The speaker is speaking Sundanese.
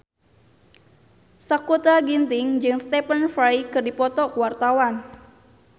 Sakutra Ginting jeung Stephen Fry keur dipoto ku wartawan